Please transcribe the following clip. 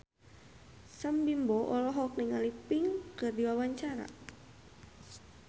Sam Bimbo olohok ningali Pink keur diwawancara